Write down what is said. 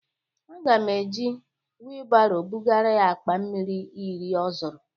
Aga m e ji wịlbaro bụgara ya akpa mmiri iri ọ zụrụ.